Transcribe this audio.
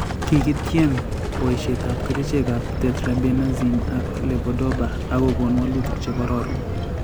Kiketyem boishetab kerichekab Tetrabenazine ak levodopa ak kokon wolutik chekororon